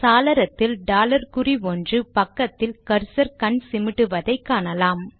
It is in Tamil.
சாளரத்தில் டாலர் குறி ஒன்று பக்கத்தில் கர்சர் கண் சிமிட்டுவதை காணலாம்